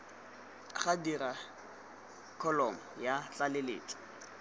ga dirwa kholomo ya tlaleletso